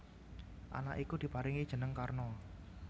Anak iku diparingi jeneng Karna